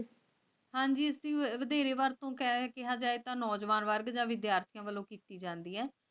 ਹਾਂ ਜੀ ਤੁਸੀਂ ਵਧੇਰੇ ਵਰਤੋਂ ਕਰੇ ਕਿਹਾ ਜਾਏ ਕਿ ਨੌਜਵਾਨ ਵਰਗ ਦੇ ਵਿਦਿਆਰਥੀਆਂ ਵੱਲੋਂ ਕੀਤੀ ਜਾਂਦੀ ਹੈ